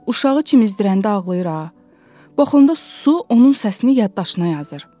Uşağı çimizdirəndə ağlayır ha, bixunda su onun səsini yaddaşına yazır.